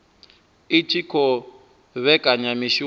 i tshi khou vhekanya mishumo